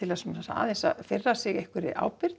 þess aðeins að fyrra sig einhverri